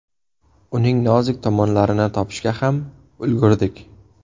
Uning nozik tomonlarini topishga ham ulgurdik.